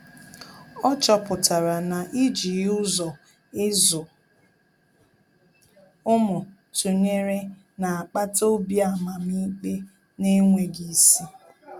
Ọ́ chọ́pụ̀tárà na íjí ụ́zọ́ ị́zụ́ ụ́mụ́ tụnyere nà-ákpàtà obi amamikpe n’énwéghị́ isi.